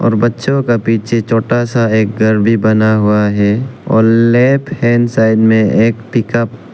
बच्चों का पीछे छोटा सा एक घर भी बना हुआ है और लेफ्ट हैंड साइड में एक पिक अप --